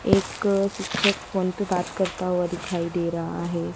एक शिक्षक फोन पे बात करता हुआ दिखाई दे रहा है।